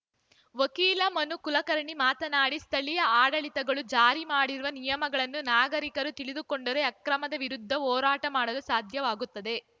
ವಕೀಲ ಮನು ಕುಲಕರ್ಣಿ ಮಾತನಾಡಿ ಸ್ಥಳೀಯ ಆಡಳಿತಗಳು ಜಾರಿ ಮಾಡಿರುವ ನಿಯಮಗಳನ್ನು ನಾಗರಿಕರು ತಿಳಿದುಕೊಂಡರೆ ಅಕ್ರಮದ ವಿರುದ್ಧ ಹೋರಾಟ ಮಾಡಲು ಸಾಧ್ಯವಾಗುತ್ತದೆ